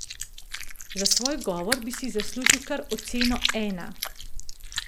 Za svoj govor bi si zaslužil kar oceno ena.